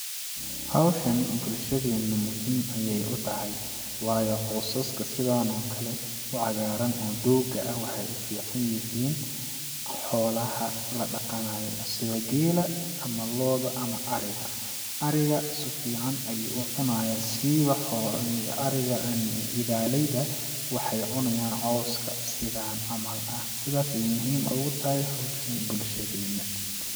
Hawshani bulshadeena muhiim ayeey u tahay waayo cosaska sidaan oo kale u cagaaran oo dooga ah waxeey u fiican yihiin xoolaha la dhaqanaayo sida geela ama looda ama ariga ,ariga su fiican ayuu u cunayaa ,siiba xoo...ariga ,idaaleyda waxeey cunayaan cawska ,sidaan camal ah ,sidaas ayeey muhim ugu tahay hawshani bulshadeena .